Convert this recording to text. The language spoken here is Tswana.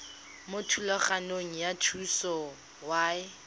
mo thulaganyong ya thuso y